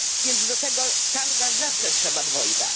Więc do tego tanga zawsze trzeba dwojga.